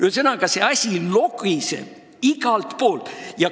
Ühesõnaga, see asi logiseb igalt poolt.